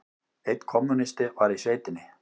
Einn kommúnisti var í sveitinni.